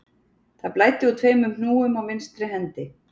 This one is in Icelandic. Það blæddi úr tveimur hnúum á vinstri hendi